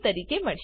તરીકે મળશે